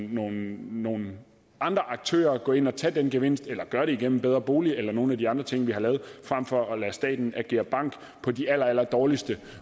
nogle nogle andre aktører gå ind og tage den gevinst eller gøre det gennem bedrebolig eller nogle af de andre ting vi har lavet frem for at lade staten agere bank på de allerallerdårligste